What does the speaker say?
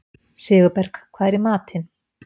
Sigurberg, hvað er í matinn?